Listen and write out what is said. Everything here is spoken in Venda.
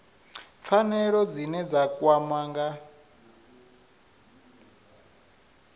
pfanelo dzine dza kwama nga